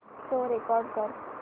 show record कर